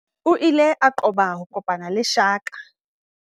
O ile a qoba ho kopana le shaka.